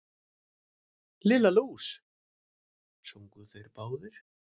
Lilla lús! sungu þeir báðir.